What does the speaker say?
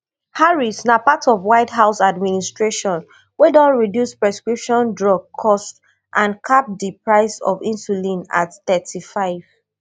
harrisna part of white house administration wey don reduce prescription drug costs and cap di price of insulin at thirty-five